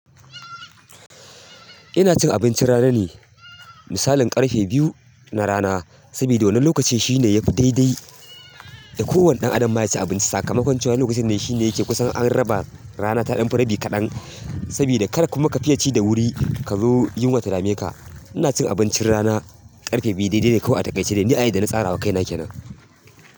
Ina cin abincin rana ne, misalin ƙarhe biyu na rana. Saboda wannan lokacin shine yafi daidai da kowane ɗan adam ma yaci abinci. Sakamakon cewa wannan lokacin ne shine yake kusan an raba rana ta ɗan fi rabi kaɗan, saboda kada kuma ka fiye ci da wuri kazo yunwa ta dame ka. Ina cin abincin rana ƙarfe biyu daidai ne kawai a takaice ne. Ni a yadda na tsarawa kaina kenan.